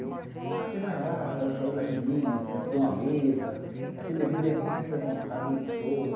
Ah, você vai lá, faz os cabelos das meninas, aí te dou uma mesa, vai ser bebida e comida à vontade a noite toda.